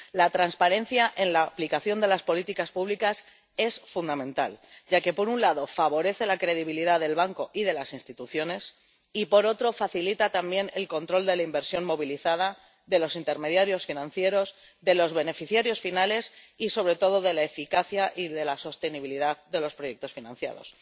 La transparencia en la aplicación de las políticas públicas es fundamental, ya que, por un lado, favorece la credibilidad del banco y de las instituciones y, por otro, facilita también el control de la inversión movilizada, de los intermediarios financieros, de los beneficiarios finales y sobre todo de la eficacia y de la sostenibilidad de los proyectos financiados.